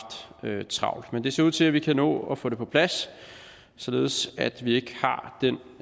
travlt men det ser ud til at vi kan nå at få det på plads således at vi ikke har den